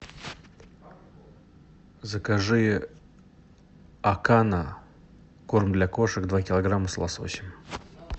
закажи акана корм для кошек два килограмма с лососем